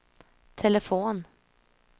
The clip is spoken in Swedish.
telefon